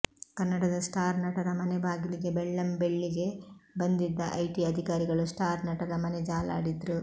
ಕನ್ನಡದ ಸ್ಟಾರ್ ನಟರ ಮನೆ ಬಾಗಿಲಿಗೆ ಬೆಳ್ಳಂ ಬೆಳ್ಳಿಗೆ ಬಂದಿದ್ದ ಐಟಿ ಅಧಿಕಾರಿಗಳು ಸ್ಟಾರ್ ನಟರ ಮನೆ ಜಾಲಾಡಿದ್ರು